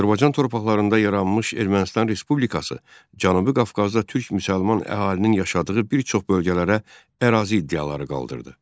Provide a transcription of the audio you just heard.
Azərbaycan torpaqlarında yaranmış Ermənistan Respublikası Cənubi Qafqazda türk müsəlman əhalinin yaşadığı bir çox bölgələrə ərazi iddiaları qaldırdı.